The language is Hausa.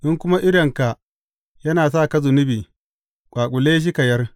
In kuma idonka yana sa ka zunubi, ƙwaƙule shi ka yar.